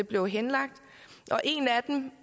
blev henlagt en af dem